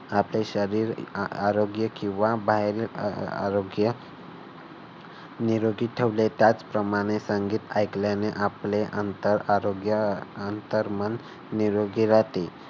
आपले शरीर आरोग्य किंवा बाहेरील आरोग्य निरोगी ठेवले त्याच प्रमाणे संगीत ऐकल्याने आपले अंतर आणि अंतर आरोग्य अंतर्मन निरोगी राहते.